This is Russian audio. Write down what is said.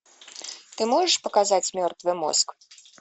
ты можешь показать мертвый мозг